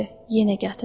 Yenə gətirdi.